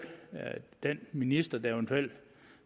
den minister der eventuelt